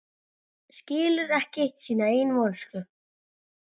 Skilur ekki sína eigin vonsku.